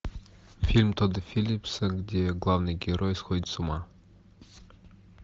фильм тодда филлипса где главный герой сходит с ума